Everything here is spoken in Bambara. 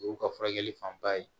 O y'u ka furakɛli fanba ye